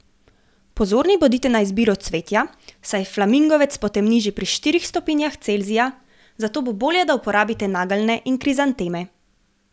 Pozorni bodite na izbiro cvetja, saj flamingovec potemni že pri štirih stopinjah celzija, zato bo bolje, da uporabite nageljne in krizanteme.